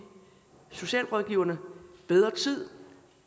socialrådgiverne bedre tid